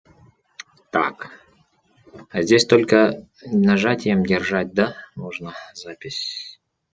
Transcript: так а здесь только нажатием держать да можно запись